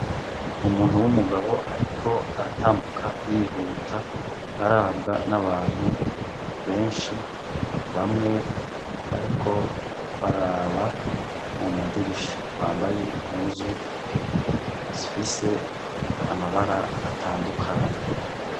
Umuntu w'umugabo ariko aratambuka yihuta arabwa n'abantu benshi bamwe bariko baraba mu madirisha bambaye impuzu zifise amabara atandukanye.